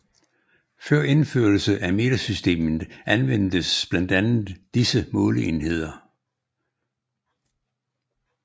Før indførelse af metersystemet anvendtes blandt andre disse måleenheder